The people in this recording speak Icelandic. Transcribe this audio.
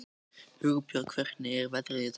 Hugbjörg, hvernig er veðrið í dag?